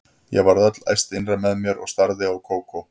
Ég varð öll æst innra með mér og starði á Kókó.